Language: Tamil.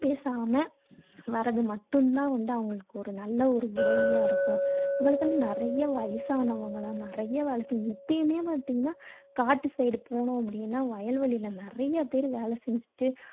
பேசாம வரது மட்டும் தான் வந்து அவங்களுக்கு ஒரு நல்ல ஒரு உதவியா இருக்கும். அந்த இடத்துல நிறைய வயசானவங்கல்லாம் நிறைய வேலை செஞ்சி~ இப்பயுமே பார்த்தீங்கன்னா காட்டு side போணோம் அப்படீன்னா வயல் வெளில நிறைய பேர் வேலை செஞ்சுட்டு